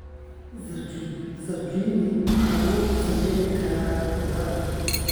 Zucchini waxaa lagu samayn karaa khudaar.